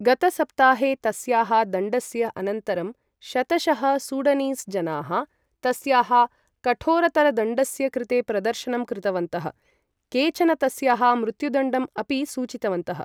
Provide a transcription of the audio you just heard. गतसप्ताहे तस्याः दण्डस्य अनन्तरं शतशः सूडनीस् जनाः तस्याः कठोरतरदण्डस्य कृते प्रदर्शनं कृतवन्तः, केचन तस्याः मृत्युदण्डम् अपि सूचितवन्तः।